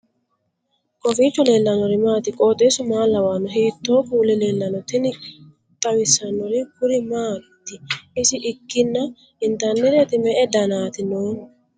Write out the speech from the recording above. kowiicho leellannori maati ? qooxeessu maa lawaanno ? hiitoo kuuli leellanno ? tini xawissannori kuri maati isi ikkina intannireeti me'e danaati noohu